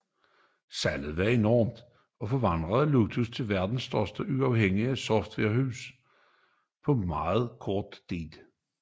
Salget var enormt og det forvandlede Lotus til verdens største uafhængige softwarehus på meget kort tid